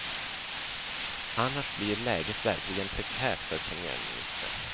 Annars blir läget verkligt prekärt för premiärministern.